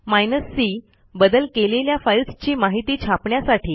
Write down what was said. hyphen c बदल केलेल्या फाईल्सची माहिती छापण्यासाठी